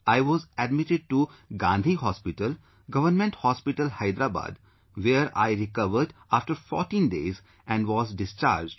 I was admitted to Gandhi Hospital, Government Hospital, Hyderabad, where I recovered after 14 days and was discharged